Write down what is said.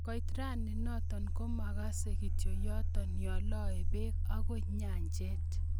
Koit rani not komugakse kityo yoto yoloe peg akoi nyanjet.